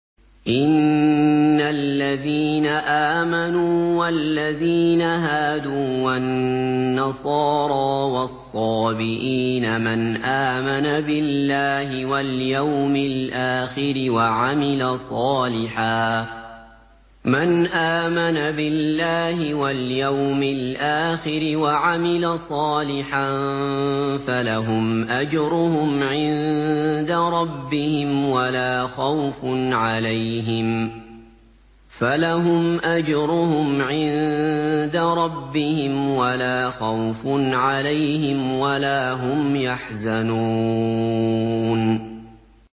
إِنَّ الَّذِينَ آمَنُوا وَالَّذِينَ هَادُوا وَالنَّصَارَىٰ وَالصَّابِئِينَ مَنْ آمَنَ بِاللَّهِ وَالْيَوْمِ الْآخِرِ وَعَمِلَ صَالِحًا فَلَهُمْ أَجْرُهُمْ عِندَ رَبِّهِمْ وَلَا خَوْفٌ عَلَيْهِمْ وَلَا هُمْ يَحْزَنُونَ